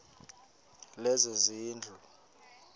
lezezindlu